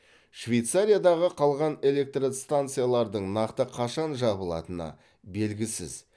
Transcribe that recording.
швейцариядағы қалған электростанциялардың нақты қашан жабылатыны белгісіз